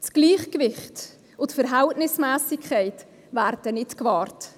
Das Gleichgewicht und die Verhältnismässigkeit werden nicht gewahrt.